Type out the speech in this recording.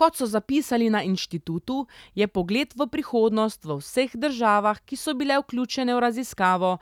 Kot so zapisali na inštitutu, je pogled v prihodnost v vseh državah, ki so bile vključene v raziskavo,